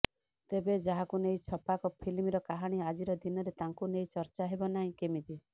ତେବେ ଯାହାକୁ ନେଇ ଛପାକ ଫିଲ୍ମର କାହାଣୀ ଆଜିର ଦିନରେ ତାଙ୍କୁ ନେଇ ଚର୍ଚ୍ଚା ହେବ ନାହିଁ କେମିିତି